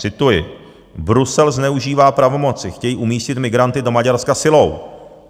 Cituji: Brusel zneužívá pravomoci, chtějí umístit migranty do Maďarska silou.